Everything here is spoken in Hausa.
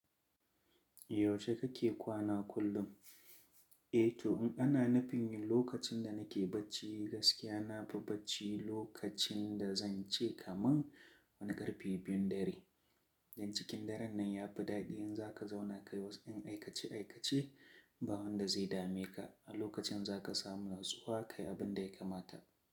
Yaushe kake kwana kullum? Eh to, in ana nufin lokacin da nake bacci gaskiya, na fi bacci lokacin da zan ce kaman wani ƙarfe biyun dare. Dan cikin daren nan ya fi daɗi in za ka zauna kai wasu in aikace aikace, ba wanda zai dame ka. A lokacin za ka samu na tsuwa kai abin da ya kamata.